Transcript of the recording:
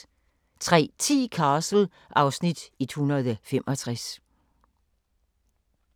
03:10: Castle (Afs. 165)